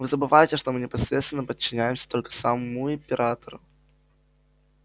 вы забываете что мы непосредственно подчиняемся только самому императору